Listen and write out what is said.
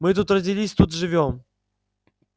мы тут родились тут живём